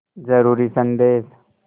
ज़रूरी संदेश